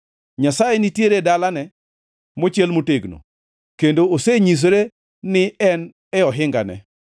Nyasaye nitiere e dalane mochiel motegno kendo osenyisore ni en e ohingane.